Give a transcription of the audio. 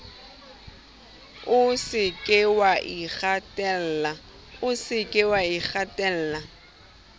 o se ke wa ikgatella